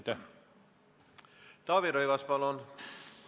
Taavi Rõivas, palun!